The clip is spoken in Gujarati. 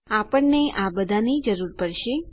આપણને આ બધાની જરૂર પડશે